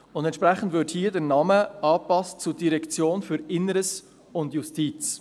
Entsprechend würde der Name angepasst zu «Direktion für Inneres und Justiz».